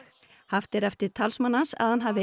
haft er eftir talsmanni hans að hann hafi